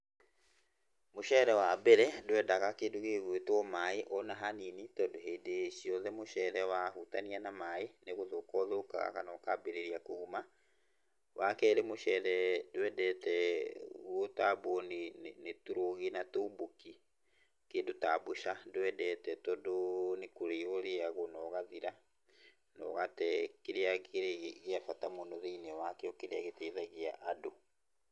Mũceere wambere ndwendaga kĩndũ gĩgwĩtwo maaĩ ona hanini, tondũ hĩndĩ ciothe mũceere wahutania na maaĩ nĩgũthũka ũthũkaga kana ũkambĩrĩria kũguma. Wakerĩ mũceere ndwendete gũtambwo nĩ, nĩ, nĩ tũrũgi na tũmbũki, kĩndũ ta mbũca ndwendete tondũ nĩ kũrĩywo ũrĩyagwo nogathira, nogate kĩrĩa kĩrĩ gĩa bata mũno thĩiniĩ wakĩo kĩrĩa gĩteithagia andũ.